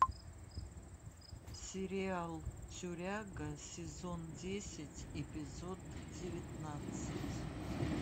сериал тюряга сезон десять эпизод девятнадцать